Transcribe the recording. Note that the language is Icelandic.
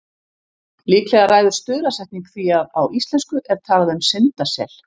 Líklega ræður stuðlasetning því að á íslensku er talað um syndasel.